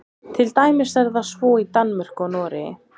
til dæmis er það svo í danmörku og noregi